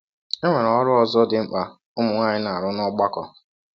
E nwere ọrụ ọzọ dị mkpa ụmụ nwaanyị na - arụ n’ọgbakọ.